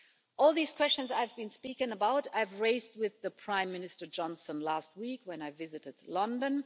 All these questions I have been speaking about I raised with Prime Minister Johnson last week when I visited London.